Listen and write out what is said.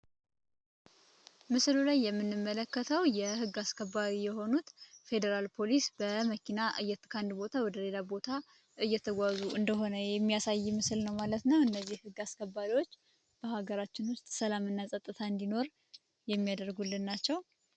ምስሎች የምንመለከተው የህግ አስከባሪ የሆኑት ፌዴራል ፖሊስ በመኪና ቦታ ወደሌላ ቦታ እየተጓዙ እንደሆነ የሚያሳይ ምስል ነው ማለት ነው እነዚህ ግ አስከባሪዎች በሀገራችን ውስጥ ሰላምና ፀጥታ እንዲኖር የሚያደርጉልን ናቸው